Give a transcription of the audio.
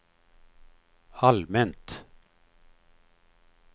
allmänt